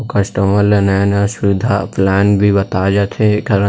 customer ल नया -नया सुबिधा प्लान भी बताए जाथे एकर --